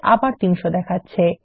আবার ফল ৩০০ দেখাচ্ছে